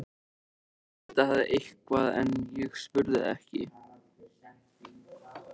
Hún hét auðvitað eitthvað en ég spurði ekki.